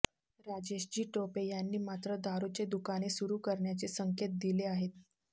राजेशजी टोपे यांनी मात्र दारुचे दुकाने सुरु करण्याचे संकेत दिले आहेत